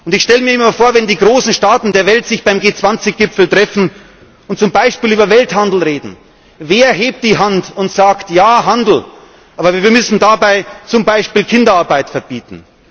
Ich stelle mir immer vor, wenn die großen Staaten der Welt sich beim G20 Gipfel treffen und zum Beispiel über Welthandel reden Wer hebt die Hand und sagt Ja, Handel. Aber wir müssen dabei zum Beispiel Kinderarbeit verbieten.